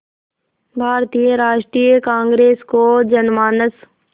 भारतीय राष्ट्रीय कांग्रेस को जनमानस